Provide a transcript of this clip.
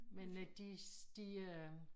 Men øh de de øh